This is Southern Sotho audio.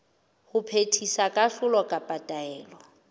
ho phethisa kahlolo kapa taelo